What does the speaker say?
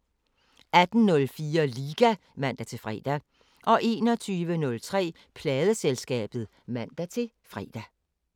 18:04: Liga (man-fre) 21:03: Pladeselskabet (man-fre)